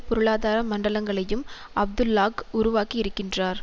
பொருளாதார மண்டலங்கலையும் அப்துல்லாஹ் உருவாக்கி இருக்கிறார்